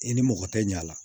I ni mɔgɔ tɛ ɲa a la